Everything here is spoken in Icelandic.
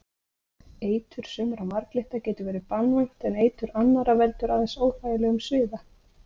Eitur sumra marglytta getur verið banvænt en eitur annarra veldur aðeins óþægilegum sviða.